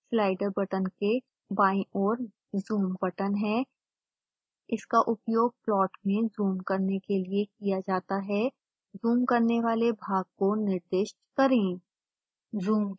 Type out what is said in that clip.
slider button के बायीं ओर zoom बटन है इसका उपयोग प्लॉट में जूम करने के लिए किया जाता है जूम करने वाले भाग को निर्दिष्ट करें